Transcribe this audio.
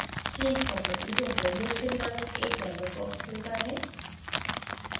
change properties of the reaction नामक एक dialog box खुलता है